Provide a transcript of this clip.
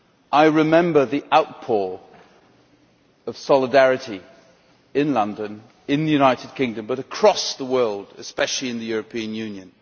I remember the outpouring of solidarity in London, in the United Kingdom, and across the world, especially in the European Union.